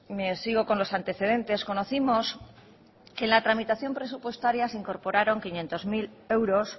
sigo con los antecedentes conocimos que en la tramitación presupuestaria se incorporaron quinientos mil euros